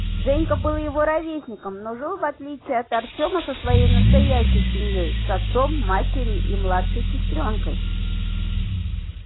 женька был его ровесником но жил в отличие от артёма со своей настоящей семьёй с отцом матерью и младшей сестрёнкой